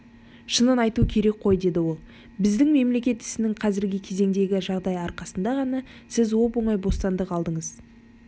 шынын айту керек қой деді ол біздің мемлекет ісінің қазіргі кезеңдегі жағдайы арқасында ғана сіз оп-оңай бостандық алдыңыз